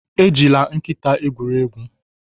Ejila nkịta egwuri egwu